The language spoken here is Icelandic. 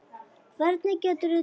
Hvernig geturðu treyst mér?